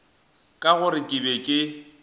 ka gore ke be ke